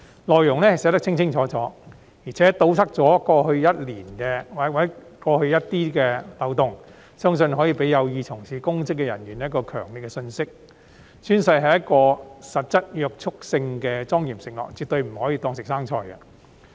內容寫得十分清楚，堵塞了過去的漏洞，相信可以給有意從事公職的人士一個強烈的信息：宣誓是具實質約束性的莊嚴承諾，絕對不可以當作"食生菜"。